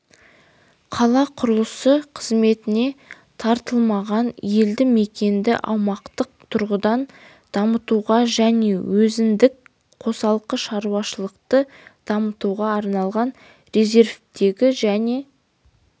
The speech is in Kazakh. қала құрылысы қызметіне тартылмаған елді мекенді аумақтық тұрғыдан дамытуға және өзіндік қосалқы шаруашылықты дамытуға арналған резервтегі және